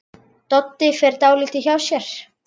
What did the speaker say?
Doddi fer dálítið hjá sér.